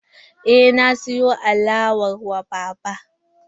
Eh, na siyo alala wa baba.